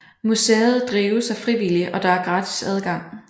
Museet drives af frivillige og der er gratis adgang